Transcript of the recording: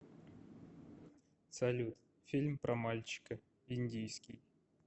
салют фильм про мальчика индийский